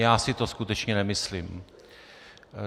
Já si to skutečně nemyslím.